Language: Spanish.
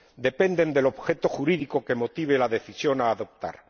depende del objeto jurídico que motive la decisión a adoptar.